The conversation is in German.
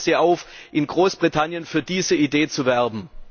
Ich fordere Sie auf, in Großbritannien für diese Idee zu werben!